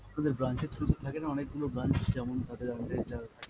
আপনাদের branch এর through থাকেনা অনেক গুলো branch, যেমন আমাদের যা।